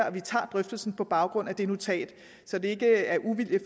at vi tager drøftelsen på baggrund af det notat så det er ikke af uvilje